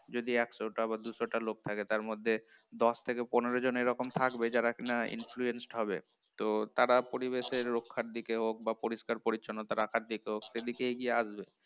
যদি একশ টা বা দুশো টা লোক থাকে তার মধ্যে দশ থেকে পনেরো জন এরকম থাকবে যারা কিনা influenced হবে, তো তারা পরিবেশের রক্ষার দিকে হোক বা পরিষ্কার পরিচ্ছন্নতা রাখার দিকে হোক সেদিকে এগিয়ে আসবে